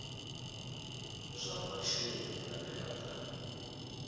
zwa vhashumi vhane vha nga